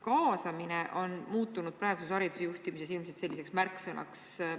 " Kaasamine on praeguses hariduse juhtimises muutunud selliseks märksõnaks.